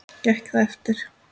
Gekk það eftir.